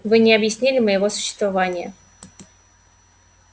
вы не объяснили моего существования